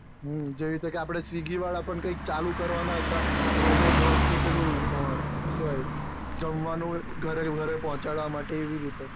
જેવી રીતે અપડે swiggy વાળા પણ ચાલુ કરવાના હતા રોબો ડ્રોન થી કઈ પેલું શું કહેવાય જમવાનું ઘરે પોહ્ચાડવા નું ઘરે ઘરે પોહ્ચાડવા માટે આવી રીતે